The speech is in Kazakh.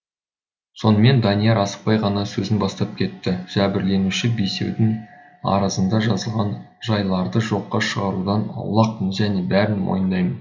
сонымен данияр асықпай ғана сөзін бастап кетті жәбірленуші бесеудің арызында жазылған жайларды жоққа шығарудан аулақпын және бәрін мойындаймын